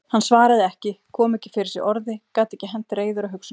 Hann svaraði ekki, kom ekki fyrir sig orði, gat ekki hent reiður á hugsunum sínum.